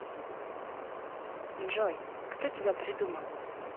джой кто тебя придумал